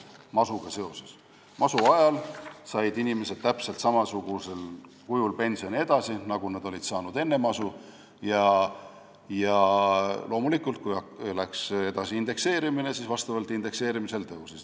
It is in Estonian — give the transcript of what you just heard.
Masu ajal said inimesed pensioni edasi täpselt samasugusel kujul, nagu nad olid saanud enne masu, ja loomulikult, kui toimus indekseerimine, siis see tõusis.